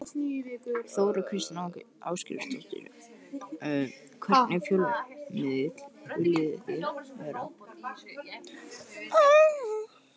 Þóra Kristín Ásgeirsdóttir: Hvernig fjölmiðill viljið þið vera?